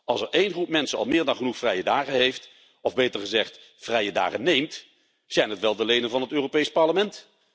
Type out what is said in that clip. Als er één groep mensen al meer dan genoeg vrije dagen heeft, of beter gezegd vrije dagen neemt, zijn het wel de leden van het Europees Parlement!